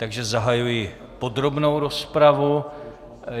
Takže zahajuji podrobnou rozpravu.